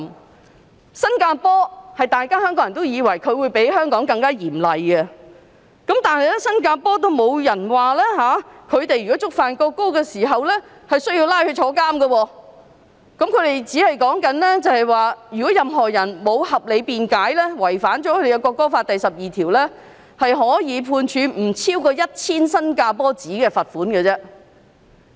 至於新加坡，香港人都以為它比香港更嚴厲，但在新加坡觸犯有關法例，也不會被判監禁。當地的法例只是訂明任何人如沒有合理辯解，違反國歌法第12條，可被判罰款不超過 1,000 新加坡元。